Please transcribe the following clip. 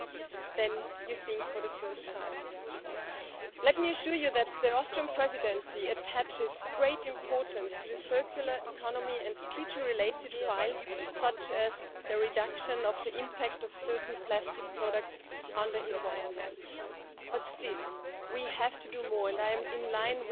Und es werden noch viel mehr werden, wenn wir nicht engagiert, konsequent und ernsthaft dagegen angehen. Es droht uns die Rückkehr in eine Präantibiotika Präpenicillin Zeit, wo ein Harnwegsinfekt ein Todesurteil sein könnte, wo Operationen, Transplantationen, Chemotherapien für die Patientinnen und Patienten ein weitaus höheres Risiko als heute bedeuten könnten.